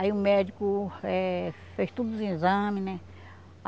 Aí o médico eh fez tudo os exames, né?